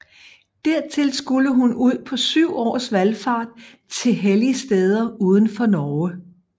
Dertil skulle hun ud på syv års valfart til helligsteder udenfor Norge